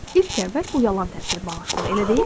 İlk əvvəl bu yalan təəssürat bağışlayır, elə deyilmi?